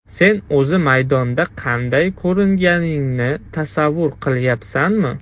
Sen o‘zi maydonda qanday ko‘ringaningni tasavvur qilyapsanmi?